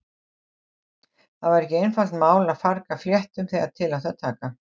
Það var ekki einfalt mál að farga fléttum þegar til átti að taka.